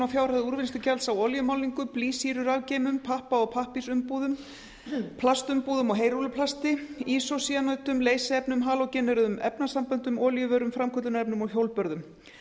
fjárhæð úrvinnslugjalds á olíumálningu blýsýrurafgeymum pappa og pappírsumbúðum plastumbúðum og heyrúlluplasti ísócyanötum leysiefnum halógeneruðum efnasamböndum olíuvörum framköllunarefnum og hjólbörðum